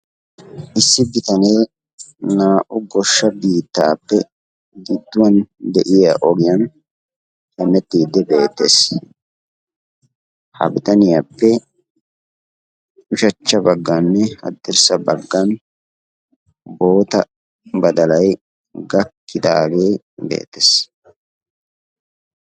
Issi bitane naa"u goshsha biitappe gidduwaan de'iya ogiyan hemettide beettees; ha bitaniyaappe ushachcha bagganne haddirssa baggan boota badalay gakkidaage beettees.